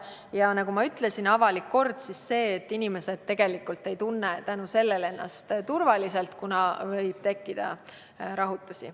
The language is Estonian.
Ja nagu ma ütlesin, on avalik kord see, et inimesed ei tunne ennast turvaliselt, kuna võib tekkida rahutusi.